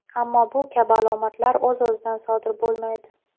Ammo bu kabi alomatlar o‘z-o‘zidan sodir bo‘lmaydi.